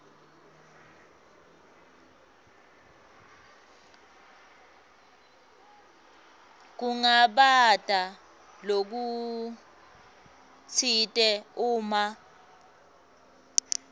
kungabata lokutsite uma